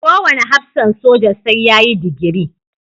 Kowane hafsan soja sai da ya yi digiri.